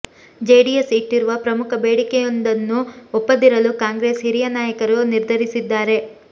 JDS ಇಟ್ಟಿರುವ ಪ್ರಮುಖ ಬೇಡಿಕೆಯೊಂದನ್ನು ಒಪ್ಪದಿರಲು ಕಾಂಗ್ರೆಸ್ ಹಿರಿಯ ನಾಯಕರು ನಿರ್ಧರಿಸಿದ್ದಾರೆ